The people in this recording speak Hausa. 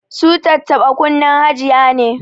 Su tattaba kunnen hajiya ne